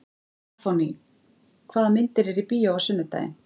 Stefánný, hvaða myndir eru í bíó á sunnudaginn?